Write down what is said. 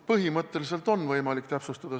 Põhimõtteliselt on võimalik täpsustada.